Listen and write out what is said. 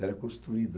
Ela é construída.